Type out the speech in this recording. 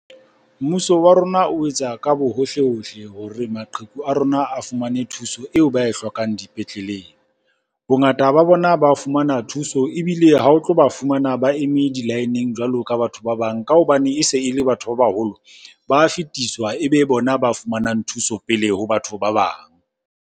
Mmuso wa rona o etsa ka bo hohle-hohle hore maqheku a rona a fumane thuso eo ba e hlokang dipetleleng. Bongata ba bona ba fumana thuso ebile le ha o tlo ba fumana ba eme di-line-eng jwalo ka batho ba bang. Ka hobane e se e le batho ba baholo, ba fetiswa ebe bona ba fumanang thuso pele ho batho ba bang.